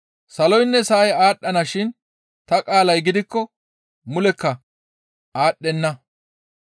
Saloynne sa7ay aadhdhana shin ta qaalay gidikko mulekka aadhdhenna.